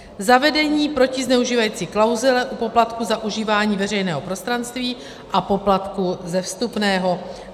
Zavedení protizneužívací klauzule u poplatků za užívání veřejného prostranství a poplatků ze vstupného.